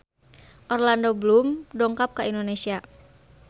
Orlando Bloom dongkap ka Indonesia